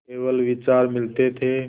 केवल विचार मिलते थे